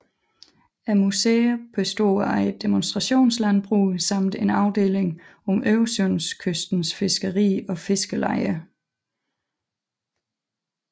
Museet består af et demonstrationslandbrug samt en afdeling om Øresundskystens fiskeri og fiskerlejer